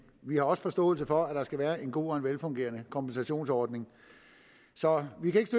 vi har også forståelse for at der skal være en god og velfungerende kompensationsordning så vi kan ikke